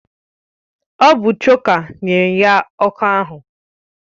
Ọ bụ chòkà nyere ya ọkụ ahụ